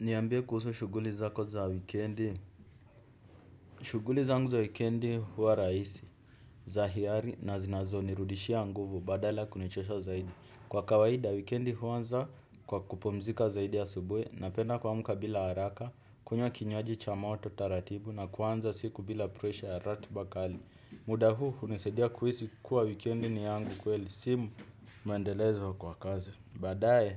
Niambie kuhusu shughuli zako za kwa wikendi. Shughuli zangu za wikendi huwa rahisi, za hiari na zinazonirudishia nguvu badala kunichosha zaidi. Kwa kawaida wikendi huanza kwa kupumzika zaidi asubuhi napenda kuamuka bila haraka, kunywa kinywaji cha moto taratibu na kuanza siku bila presha ya ratiba kali. Muda huu hunisaidia kuhisi kuwa wikendi ni yangu kweli, si muendelezo kwa kazi. Baadae,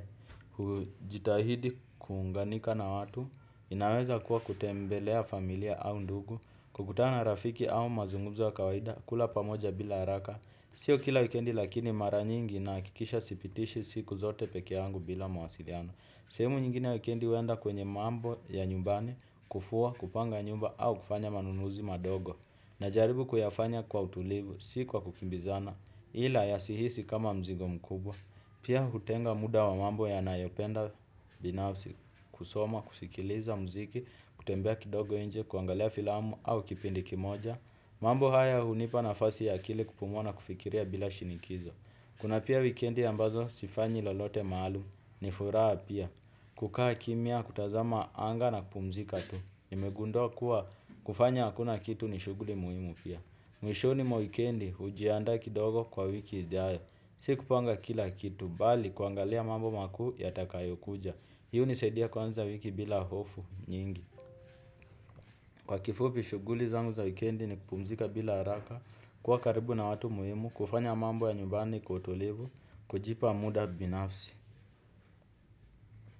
hujitahidi kuunganika na watu, inaweza kuwa kutembelea familia au ndugu, kukutana rafiki au mazungumzo ya kawaida, kula pamoja bila haraka. Sio kila wikendi lakini mara nyingi nahakikisha sipitishi siku zote pekeangu bila mawasiliano. Sehemu nyingine wikendi huenda kwenye mambo ya nyumbani, kufua, kupanga nyumba au kufanya manunuzi madogo. Najaribu kuyafanya kwa utulivu, si kwa kukimbizana, ila yasihisi kama mzigo mkubwa. Pia hutenga muda wa mambo nayopenda binafsi kusoma, kusikiliza muziki, kutembea kidogo nje, kuangalea filamu au kipindi kimoja. Mambo haya hunipa nafasi ya akili kupumua na kufikiria bila shinikizo. Kuna pia wikendi ambazo sifanyi lolote maalum ni furaha pia. Kukaa kimya, kutazama anga na kupumzika tu. Nimegundua kuwa kufanya hakuna kitu ni shughuli muhimu pia. Mwishoni mwa wikendi hujiandaa kidogo kwa wiki ijayo. Sikupanga kila kitu, bali kuangalia mambo makuu yatakayokuja. Hii hunisaidia kuanza wiki bila hofu nyingi. Kwa kifupi shughuli zangu za weekendi ni kupumzika bila haraka, kwa karibu na watu muhimu, kufanya mambo ya nyumbani kwa utulivu, kujipa muda binafsi.